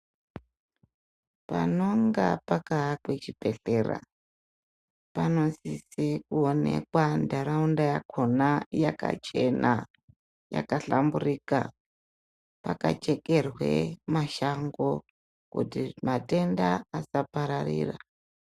Panonga pakaakwe chibhedhlera panosise kuonekwa ntaraunda yakhona yakachena yakahlamburika, pakachekerwe mashango kuti matenda asapararira.